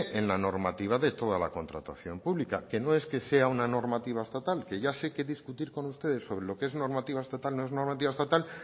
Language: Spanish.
en la normativa de toda la contratación pública que no es que sea una normativa estatal que ya sé que discutir con ustedes sobre lo que es normativa estatal no es normativa estatal